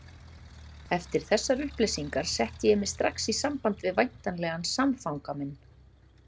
Eftir þessar upplýsingar setti ég mig strax í samband við væntanlegan samfanga minn.